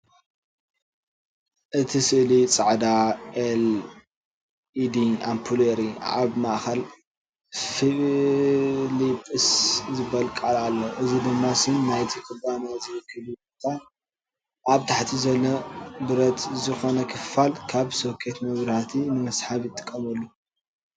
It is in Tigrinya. እቲ ስእሊ ጻዕዳ ኤልኢዲ ኣምፑል የርኢ። ኣብ ማእከል “ፍሊፕስ” ዝብል ቃል ኣሎ፣ እዚ ድማ ስም ናይ’ቲ ኩባንያ ዝውክል እዩ። እቲ ኣብ ታሕቲ ዘሎ ብረት ዝኾነ ክፋል ኣብ ሶኬት መብራህቲ ንምስሓብ ይጥቀመሉ።